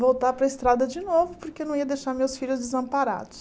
voltar para a estrada de novo, porque eu não ia deixar meus filhos desamparados.